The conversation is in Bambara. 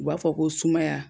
U b'a fɔ ko sumaya